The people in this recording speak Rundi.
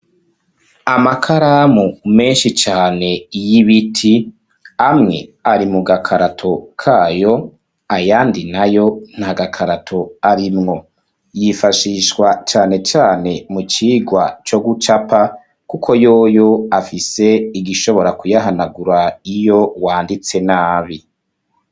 Amakaramu menshi cane y'ibiti ,amwe ari mu gakarato kayo, ayandi nayo nta gakarato arimwo, yifashishwa cane cane mu cigwa co gucapa, kuko yoyo afise igishobora kuyahanagura iyo wanditse nabi.